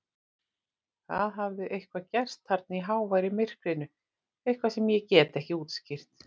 Það hafði eitthvað gerst þarna í háværu myrkrinu, eitthvað sem ég get ekki útskýrt.